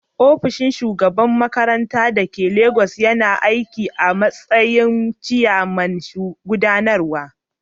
Ofishin shugaban makarantar da ke Legas yana aiki a matsayin cibiyar gudanarwa.